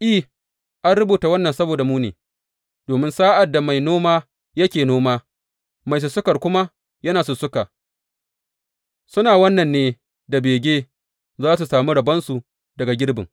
I, an rubuta wannan saboda mu ne, domin sa’ad da mai noma yake noma, mai sussuka kuma yana sussuka, suna wannan ne da bege za su sami rabonsu daga girbin.